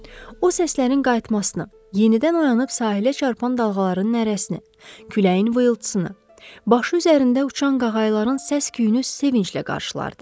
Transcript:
O səslərin qayıtmasını, yenidən oyanıb sahilə çarpan dalğaların nərəsini, küləyin vıyılıtsını, başı üzərində uçan qağayıların səs-küyünü sevinclə qarşıladı.